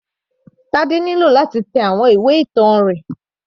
Tade nílò láti tẹ àwọn ìwé ìtàn rẹ̀.